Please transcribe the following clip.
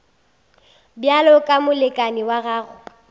bjalo ka molekane wa gago